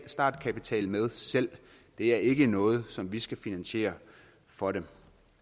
startkapital med selv det er ikke noget som vi skal finansiere for dem